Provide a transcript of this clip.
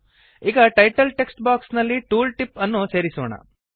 ಈಗ title text box ನಲ್ಲಿ tool tip ಅನ್ನು ಸೇರಿಸೋಣ